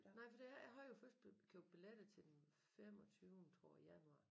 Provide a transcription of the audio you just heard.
Nej for det jeg har jo først købt billetter til den femogtyvende tror jeg januar